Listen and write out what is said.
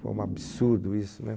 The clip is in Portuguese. Foi um absurdo isso, né?